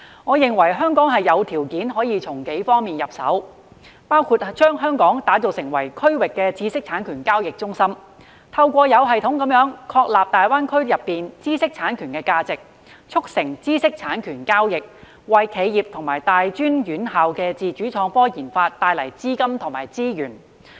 我認為香港有條件從幾方面入手，包括將香港打造成為區域知識產權交易中心，透過有系統地確立大灣區內的知識產權價值，促成知識產權交易，為企業及大專院校的自主創科研發帶來資金和資源。